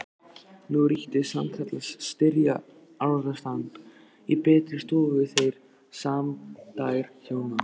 Nú ríkti sannkallað styrjaldarástand í betri stofu þeirra sæmdarhjóna